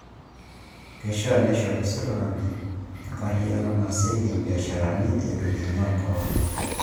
Keishia neishoru sirkali enkarriyiano naasieki imbiasharani eitu inyal Corona